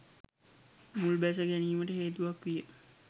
මුල්බැස ගැනීමට හේතුවක් විය.